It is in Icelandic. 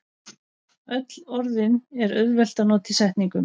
Öll orðin er auðvelt að nota í setningum.